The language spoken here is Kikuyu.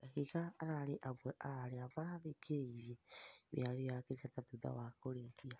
Kahiga ararĩ amwe a arĩa marathĩkĩrĩirĩe mĩarĩo ya Kenyatta thũtha wa kũrĩkĩa